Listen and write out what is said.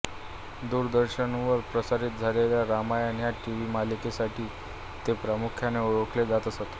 दूरदर्शनवर प्रसारित झालेल्या रामायण ह्या टिव्ही मालिकेसाठी ते प्रामुख्याने ओळखले जात असत